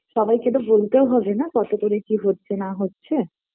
সবাইকে তো বলতেও হবে না কত করে কি হচ্ছে না হচ্ছে